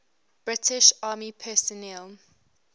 british army personnel